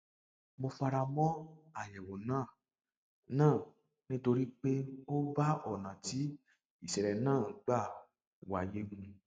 mo fara mọ àyẹwò náà náà nítorí pé ó bá ọnà tí ìṣẹlẹ náà gbà wáyé mu